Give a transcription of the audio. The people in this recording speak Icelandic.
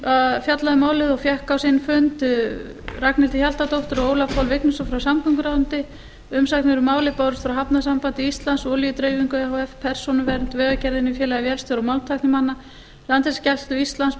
um málið og fengið á sinn fund ragnhildi hjaltadóttur og ólaf pál vignisson frá samgönguráðuneytinu umsagnir um málið bárust frá hafnasambandi íslands olíudreifingu e h f persónuvernd vegagerðinni félagi vélstjóra og málmtæknimanna landhelgisgæslu íslands